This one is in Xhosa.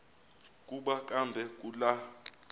kuba kambe kula